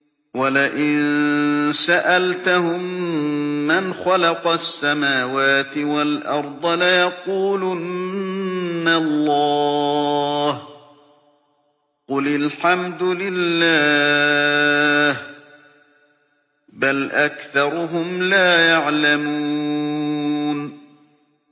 وَلَئِن سَأَلْتَهُم مَّنْ خَلَقَ السَّمَاوَاتِ وَالْأَرْضَ لَيَقُولُنَّ اللَّهُ ۚ قُلِ الْحَمْدُ لِلَّهِ ۚ بَلْ أَكْثَرُهُمْ لَا يَعْلَمُونَ